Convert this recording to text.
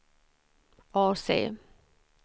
AC